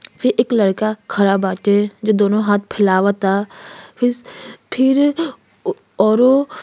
फिर एक लड़का खड़ा बाटे जो दोनों हाथ फैलवाता। फ़ीस फिर औरो --